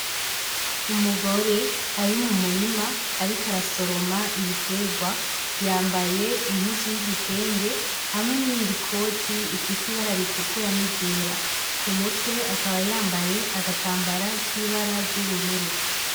Umugore ari mu murima ariko arasoroma ibiterwa yambaye impuzu y'igitenge hamwe n'iyindi mpuzu ifise ibara ritukura n'iryera ku mutwe akaba yambaye agatambara k'ibara ry'ubururu .